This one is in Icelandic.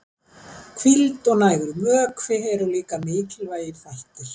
hvíld og nægur vökvi eru líka mikilvægir þættir